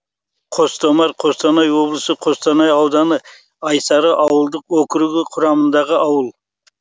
қостомар қостанай облысы қостанай ауданы айсары ауылдық округі құрамындағы ауыл